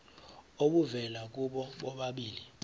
obuvela kubo bobabili